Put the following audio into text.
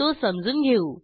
तो समजून घेऊ